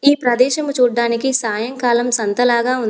ఈ ప్రదేశము చూడ్డానికి సాయంకాలం సంతలాగా ఉంది.